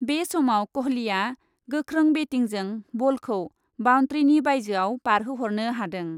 बे समाव कहलीआ गोखों बेटिंजों बलखौ बाउन्ट्रीनि बाइजोआव बारहोहरनो हादों ।